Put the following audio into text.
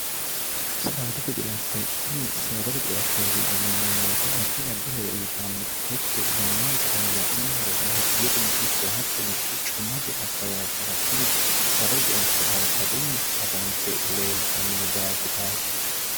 ettotini saadate ceattooti yineemmoweete addi addi hore uyitanno techu yannaangirano la'nummoro baati yetino ikko hattono guccummote akkabaabbara tini saadate ceatto hala'ladunni afante leeltannino daafiraati